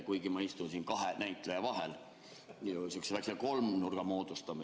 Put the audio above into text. Kuigi ma istusin siin kahe näitaja vahel, me moodustame siin sihukese väikse kolmnurga.